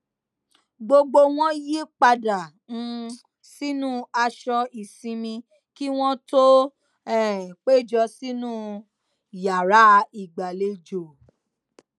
gbogbo wọn yí padà um sínú aṣọ ìsinmi kí wọn tó um péjọ sínú yàrá ìgbàlejò